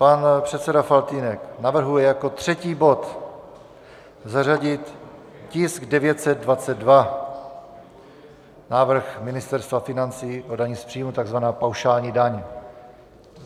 Pan předseda Faltýnek navrhuje jako třetí bod zařadit tisk 922, návrh Ministerstva financí o dani z příjmů, tzv. paušální daň.